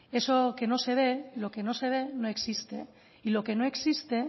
eso que no se ve lo que no se ve no existe y lo que no existe